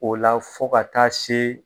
O la fo ka taa se